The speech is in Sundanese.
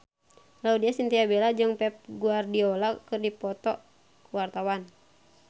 Laudya Chintya Bella jeung Pep Guardiola keur dipoto ku wartawan